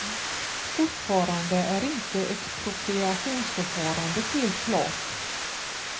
Fortfarande är inte expropriationsförfarandet helt klart.